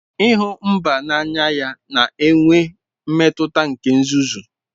ịhụ mba n'anya ya na-enwe mmetụta nke nzuzu.